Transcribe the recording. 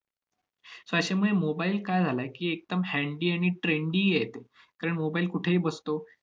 so अशामुळे mobile काय झालाय की, एकदम handy आणि trendy आहे तो. कारण mobile कुठेही बसतो